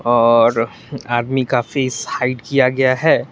आदमी का face hide किया गया है।